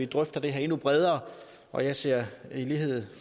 drøfte det her endnu bredere og jeg ser i lighed